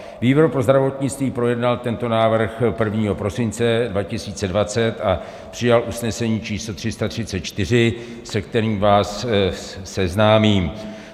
Výbor pro zdravotnictví projednal tento návrh 1. prosince 2020 a přijal usnesení číslo 334, se kterým vás seznámím.